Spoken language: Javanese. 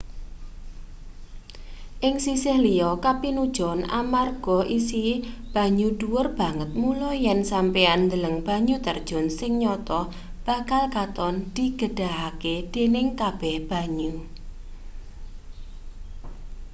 ing sisih liya kapinujon amarga isi banyu dhuwur banget mula yen sampeyan ndeleng banyu terjun sing nyata bakal katon digedhahake-dening kabeh banyu